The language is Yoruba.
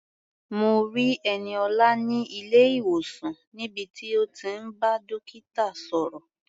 Mo rí Ẹniọlá ní ilé-ìwòsàn níbi tí ó ti ń bá dókítà sọ̀rọ̀.